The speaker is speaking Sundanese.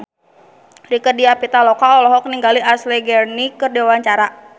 Rieke Diah Pitaloka olohok ningali Ashley Greene keur diwawancara